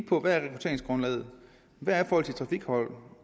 på hvad rekrutteringsgrundlaget er hvordan trafikforholdene